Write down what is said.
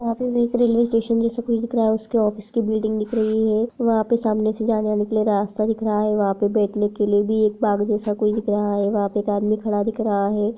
वहा पे एक रेलेवे स्टेशन जैसे कुछ दिख रहा है उसके ऑफिस की बिल्डिंग दिख रही है वहा पर सामने से जाने आने के लिए रास्ता दिख रहा है वहां पे बेठने लिए भी एक बाग़ जैसा कोई दिख रहा है वहा पे एक आदमी खड़ा दिख रहा है।